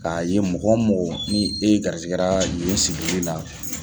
K'a ye mɔgɔ o mɔgɔ ni garizigɛra yen sigili la